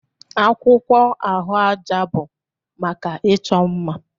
Akwụkwọ ahụaja bụ maka ịchọ mma